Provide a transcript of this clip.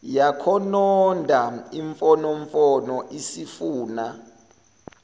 yakhononda imfonomfono isifuna